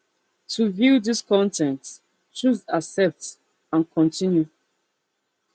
to view dis con ten t choose accept and continue